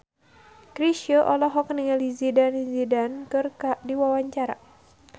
Chrisye olohok ningali Zidane Zidane keur diwawancara